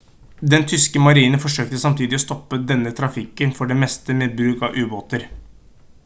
den tyske marinen forsøkte samtidig å stoppe denne trafikken for det meste med bruk av ubåter